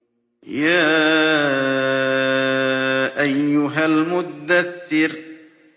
يَا أَيُّهَا الْمُدَّثِّرُ